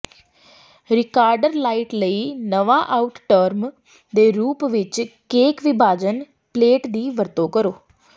recorder light ਲਈ ਨਵਾਂ out term ਦੇ ਰੂਪ ਵਿੱਚ ਕੇਕ ਵਿਭਾਜਨ ਪਲੇਟ ਦੀ ਵਰਤੋਂ ਕਰੋ